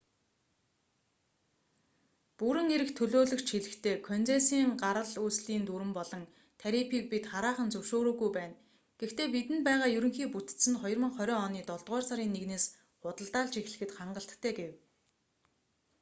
бүрэн эрхт төлөөлөгч хэлэхдээ концессийн гарал үүслийн дүрэм болон тарифыг бид хараахан зөвшөөрөөгүй байна гэхдээ бидэнд байгаа ерөнхий бүтэц нь 2020 оны долдугаар сарын 1-с худалдаалж эхлэхэд хангалттай гэв